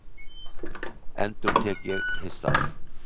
endurtek ég hissa.